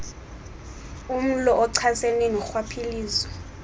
umlo ochasene norhwaphilizo